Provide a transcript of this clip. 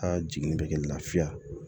A jiginni bɛ kɛ lafiya